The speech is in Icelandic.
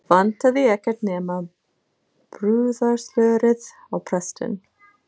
Vantaði ekkert nema brúðarslörið og prestinn.